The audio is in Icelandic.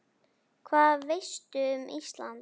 Hvað veistu um Ísland?